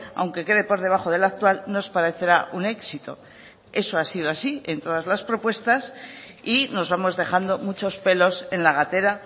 aunque quede por debajo del actual nos parecerá un éxito eso ha sido así en todas las propuestas y nos vamos dejando muchos pelos en la gatera